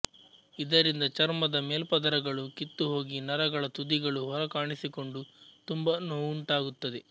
ಇದರಿಂದ ಚರ್ಮದ ಮೇಲ್ಪದರಗಳು ಕಿತ್ತುಹೋಗಿ ನರಗಳ ತುದಿಗಳು ಹೊರಕಾಣಿಸಿಕೊಂಡು ತುಂಬ ನೋವುಂಟಾಗುತ್ತದೆ